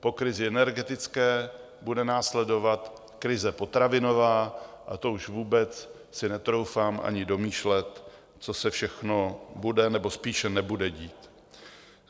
Po krizi energetické bude následovat krize potravinová a to už vůbec si netroufám ani domýšlet, co se všechno bude nebo spíše nebude dít.